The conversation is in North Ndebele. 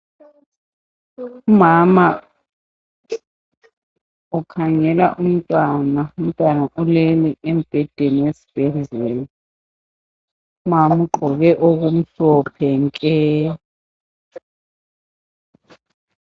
Umama ukhangela umntwana. Umntwana ulele embhedeni esibhedlela. Umama ugqoke okumhlophe nke.